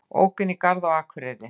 Ók inn í garð á Akureyri